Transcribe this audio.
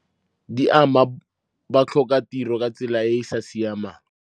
Di ama batlhokatiro ka tsela e e sa siamang.